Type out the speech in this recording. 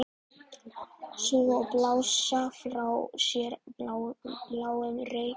Sjúga og blása frá sér bláum reyk.